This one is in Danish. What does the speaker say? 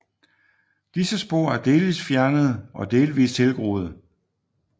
Disse spor er delvist fjernede og delvist tilgroede